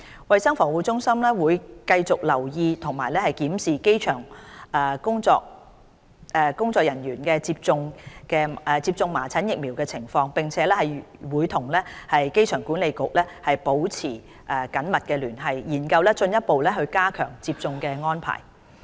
衞生防護中心會繼續留意及檢視機場員工接種麻疹疫苗的情況，並會與機管局保持密切聯繫，研究進一步加強接種的安排。